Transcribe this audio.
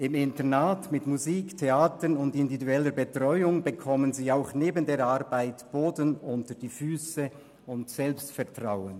Im Internat mit Musik, Theater und individueller Betreuung bekommen sie auch neben der Arbeit Boden unter die Füsse und Selbstvertrauen.